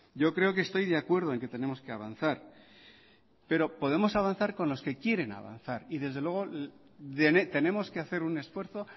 yo creo que estoy de acuerdo en que tenemos que avanzar pero podemos avanzar con los que quieren avanzar y desde luego tenemos que hacer un esfuerzo